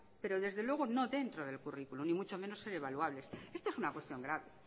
pero desde luego no dentro del currículo y mucho menos ser evaluables esto es una cuestión grave